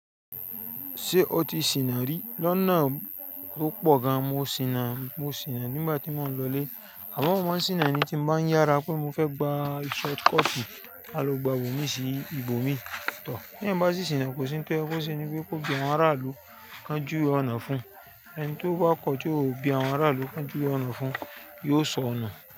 Ṣé o ti sìnà rí? Lọ́nà tó pọ̀ gan, mo sìnà, mo sìnà nígbà tí mo ń lọlé. Àmọ́, mò máa ń sìnà ni tí mo bá yára pé mo fẹ́ gba short cut, a lọ gba ibò mí sí ibò mí. Tí èèyàn bá ṣì sìnà, kò sí ń tọ́ yẹ́ kó ṣe ni pé kó pe àwọn aráàlú kan jùwe ọ̀nà fún un. Ẹni tó bá kọ ti o bí àwọn aráàlú kan jùwe ọ̀nà fún un yóò sọ nù.